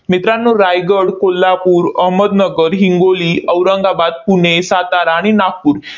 मित्रांनो, रायगड, कोल्हापूर, अहमदनगर, हिंगोली, औरंगाबाद, पुणे, सातारा आणि नागपूर